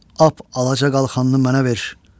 Ap alaca qalxanını mənə ver.